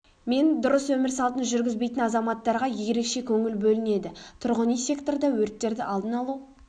мен дұрыс өмір салтын жүргізбейтін азаматтарға ерекше көңіл бөлінеді тұрғын үй секторда өрттерді алдын алу